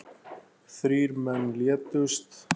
Þrír menn létust.